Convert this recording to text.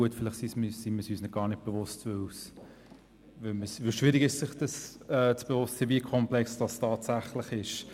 Gut, vielleicht sind wir es uns gar nicht bewusst, weil es schwierig ist, sich bewusst zu sein, wie komplex es tatsächlich ist.